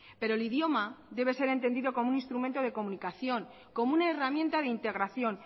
pero el idioma debe ser entendido como un instrumento de comunicación como una herramienta de integración